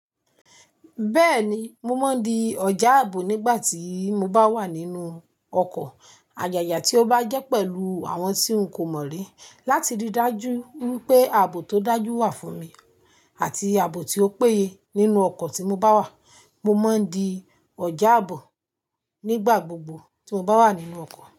Bẹ́ẹ̀ni, mo máa ń di ọ̀já ààbò nígbà tí mo bá wà nínú ọkọ̀. Ayaya tí ó bá jẹ́ pẹ̀lú àwọn tí n kò mọ̀ rí, láti rí dájú wípé ààbò tó dájú wà fún mi àti ààbò tí ó péye nínú ọkọ̀ tí mo bá wà. Mo máa ń di ọjà àbò nígbà gbogbo tí mo bá wà nínú ọkọ̀